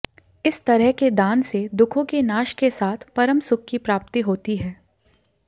इस तरह के दान से दुखों के नाश के साथ परमसुख की प्राप्ति होती है